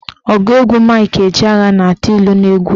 Ọgụ egwu Mike Ejeagha na-atụ ilu n'egwu ya.